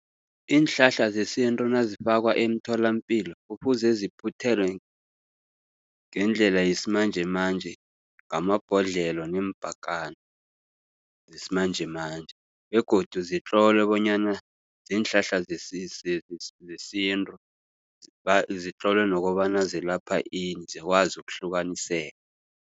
Iinhlahla zesintu nazifakwa emtholapilo. Kufuze ziphuthelwe ngendlela yesimanjemanje ngamabhodlelo neempakana zesimanjemanje begodu zitlolwe bonyana ziinhlahla zesintu. Zitlolwe nokobana zilapha ini zikwazi ukuhlukaniseka.